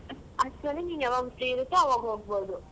ಅಷ್ಟ್ರಲ್ಲಿ ನೀನ್ ಯಾವಾಗ್ free ಇರತ್ತೋ ಅವಾಗ್ ಹೋಗ್ಬೋದು.